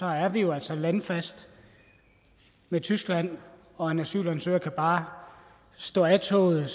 er vi jo altså landfast med tyskland og en asylansøger kan bare stå af toget